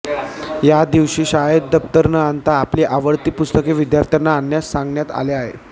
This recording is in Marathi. या दिवशी शाळेत दप्तर न आणता आपली आवडती पुस्तके विद्यार्थ्यांना आणण्यास सांगण्यात आले आहे